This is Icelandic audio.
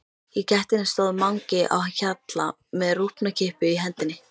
Í gættinni stóð Mangi á Hjalla með rjúpnakippu í hendinni.